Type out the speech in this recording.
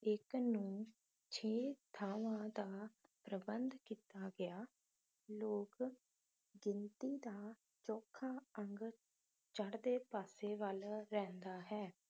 ਇਕ ਨੂੰ ਛੇ ਥਾਂਵਾਂ ਦਾ ਪ੍ਰਬੰਧ ਕੀਤਾ ਗਿਆ ਲੋਕ ਗਿਣਤੀ ਦਾ ਚੋਖਾ ਅੰਗ ਚੜ੍ਹਦੇ ਪਾਸੇ ਵੱਲ ਰਹਿੰਦਾ ਹੈ